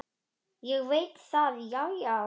Ég veit það, já, já.